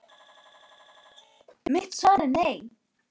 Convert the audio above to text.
Mitt svar er nei.